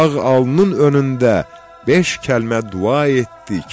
Ağ alnın önündə beş kəlmə dua etdik.